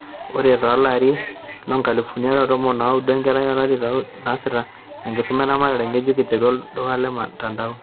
Ore tolari loonkalifuni are o tomon onaudo, enkerai olari leokuni naasita enkisuma eramatare ngejuk iterua olduka le mtandao